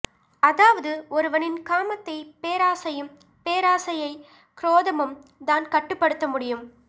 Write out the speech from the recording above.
அதாவது ஒருவனின் காமத்தை பேராசையும் பேராசையை குரோதமும் தான் கட்டுப்படுத்த முடியும்